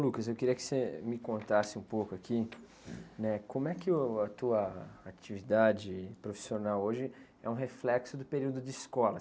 eu queria que você me contasse um pouco aqui, né? Como é que uh, a tua atividade profissional hoje é um reflexo do período de escola?